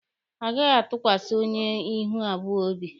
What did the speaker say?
A gaghị atụkwasa onye ihu abụọ obi.